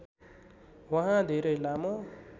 उहाँ धेरै लामो